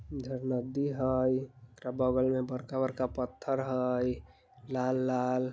इधर नदी हई बग़ल में बड़का-बड़का पत्थर हई लाल-लाल।